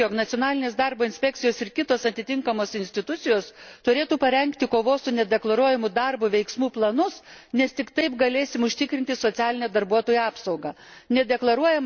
Visiškai sutinku, jog nacionalinės darbo inspekcijos ir kitos atitinkamos institucijos turėtų parengti kovos su nedeklaruojamu darbu veiksmų planus, nes tik taip galėsime užtikrinti socialinę darbuotojų apsaugą.